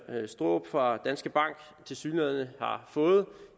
straarup fra danske bank tilsyneladende har fået